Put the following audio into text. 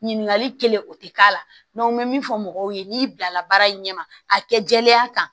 Ɲininkali kelen o tɛ k'a la n bɛ min fɔ mɔgɔw ye n'i bilala baara in ɲɛ ma a kɛ jɛlenya kan